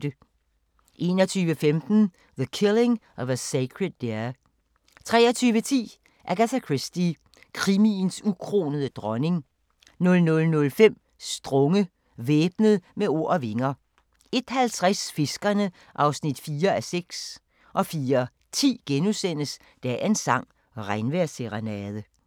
21:15: The Killing of a Sacred Deer 23:10: Agatha Christie – krimiens ukronede dronning 00:05: Strunge – Væbnet med ord og vinger 01:50: Fiskerne (4:6) 04:10: Dagens sang: Regnvejrsserenade *